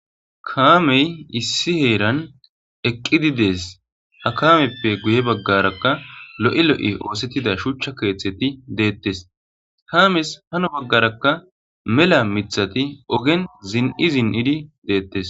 Kaamey issi heeran eqqidi dees ha kaameppe guye baggarakka lo'e lo'i oosettida shuuchcha keeththeti deettes kaames hano baggarakka mela mithati ogen zin'i zin'idi deettes.